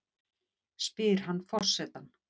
spyr hann forsetann.